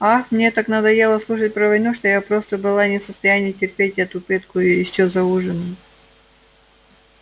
ах мне так надоело слушать про войну что я просто была не в состоянии терпеть эту пытку ещё и за ужином